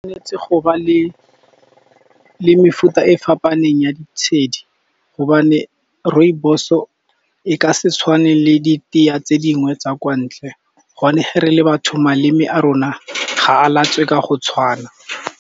Netse go ba le mefuta e fapaneng ya ditshedi , gobane rooibos-o e ka se tshwane le ditee tse dingwe tsa kwa ntle. Gobane ge re le batho maleme a rona ga a latswe ka go tshwana.